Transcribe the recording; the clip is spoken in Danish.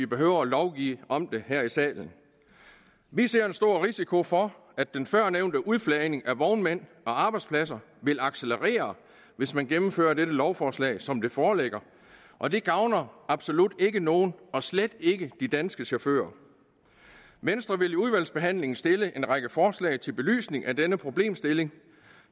behøver at lovgive om det her i salen vi ser en stor risiko for at den førnævnte udflagning af vognmænd og arbejdspladser vil accelerere hvis man gennemfører dette lovforslag som det foreligger og det gavner absolut ikke nogen og slet ikke de danske chauffører venstre vil i udvalgsbehandlingen stille en række forslag til belysning af denne problemstilling